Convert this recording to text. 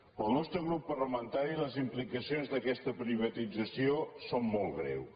pel nostre grup parlamentari les implicacions d’aquesta privatització són molt greus